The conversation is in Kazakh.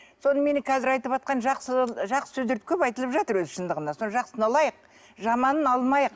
соныменен қазір айтып жатқан жақсы жақсы сөздерді көп айтылып жатыр өзі шындығында сол жақсысын алайық жаманын алмайық